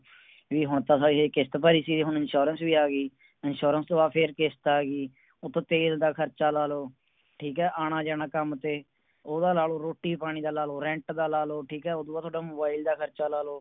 ਵੀ ਹੁਣ ਤਾ ਹਜੇ ਕਿਸ਼ਤ ਭਰੀ ਸੀ ਹੁਣ Insurance ਵੀ ਆ ਗਈ Insurance ਤੋਂ ਬਾਦ ਫਿਰ ਕਿਸ਼ਤ ਆ ਗਈ ਉਤੋਂ ਤੇਲ ਦਾ ਖਰਚਾ ਲਾ ਲੋ ਠੀਕ ਏ ਆਣਾ ਜਾਣਾ ਕੰਮ ਤੇ ਓਹਦਾ ਲਾ ਲੋ ਰੋਟੀ ਪਾਣੀ ਦਾ ਲਾ ਲੋ Rent ਦਾ ਲਾ ਲੋ ਠੀਕ ਏ ਉਦੂ ਬਾਦ ਤੁਹਾਡਾ Mobile ਦਾ ਖਰਚਾ ਲਾ ਲੋ